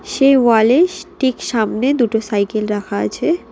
সেই ওয়ালে ইস ঠিক সামনে দুটো সাইকেল রাখা আছে।